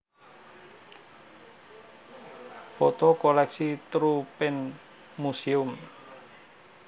Foto koleksi Troopenmuseum